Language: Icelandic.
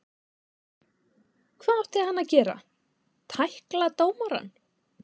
Hvað átti hann að gera, tækla dómarann?